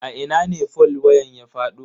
A ina ne fol wayan ya fado.